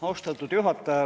Austatud juhataja!